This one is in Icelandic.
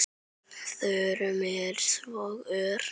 Þróunin er svo ör.